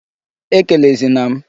Ekelezi na m!